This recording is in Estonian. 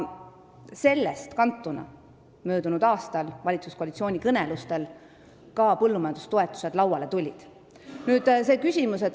Selle tõttu möödunud aastal koalitsioonikõnelustel põllumajandustoetused lauale tulidki.